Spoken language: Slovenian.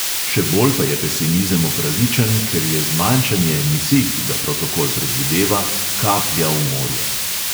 Še bolj pa je pesimizem opravičen, ker je zmanjšanje emisij, ki ga protokol predvideva, kaplja v morje.